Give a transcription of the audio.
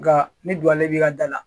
Nka ni duwawu b'i ka da la